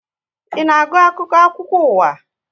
Ị na agụ akwụkwọ akụkọ ụwa?